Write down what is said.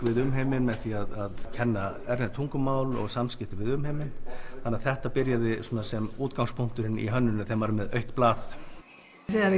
við umheiminn með því að kenna erlend tungumál og samskipti við umheiminn þetta byrjaði sem útgangspunkturinn í hönnuninni þegar maður er með autt blað þegar